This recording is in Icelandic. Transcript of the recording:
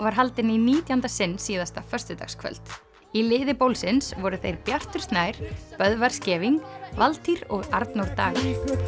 var haldin í nítjánda sinn síðasta föstudagskvöld í liði voru þeir Bjartur Snær Böðvar Scheving Valtýr og Arnór Dagur